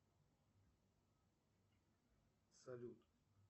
салют